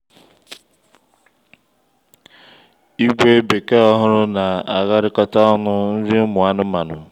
ígwè bekee ọhụrụ na agharịkọta ọnụ nri ụmụ anụmanụ